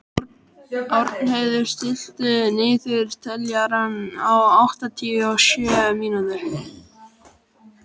Árnheiður, stilltu niðurteljara á áttatíu og sjö mínútur.